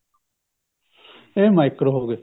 ਅੱਛਾ ਇਹ micro ਹੋ ਗਏ